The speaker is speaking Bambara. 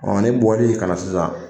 ne bɔli kana na sisan